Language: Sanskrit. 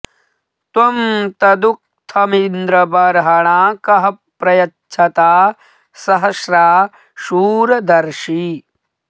त्वं तदुक्थमिन्द्र बर्हणा कः प्र यच्छता सहस्रा शूर दर्षि